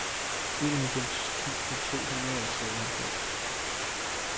enoghalvfems tusind to hundrede og treoghalvfems